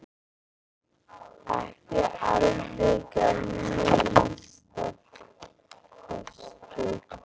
Ekki alveg að minnsta kosti!